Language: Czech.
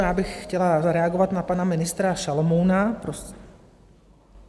Já bych chtěla zareagovat na pana ministra Šalomouna.